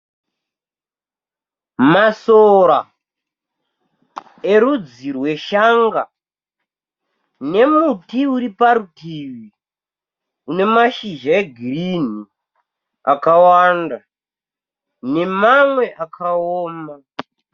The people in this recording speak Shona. Masora erudzi rweshanga nemuti uri parutivi une mazhizha egirini akawanda nemamwe akaoma.